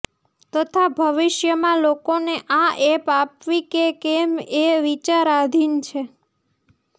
તથા ભવિષ્યમાં લોકોને આ એપ આપવી કે કેમ એ વિચાર આધીન છે